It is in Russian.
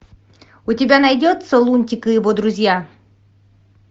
у тебя найдется лунтик и его друзья